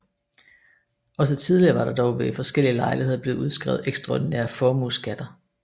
Også tidligere var der dog ved forskellige lejligheder blevet udskrevet ekstraordinære formueskatter